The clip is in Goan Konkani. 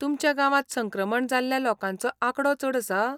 तुमच्या गावांत संक्रमण जाल्ल्या लोकांचो आंकडो चड आसा?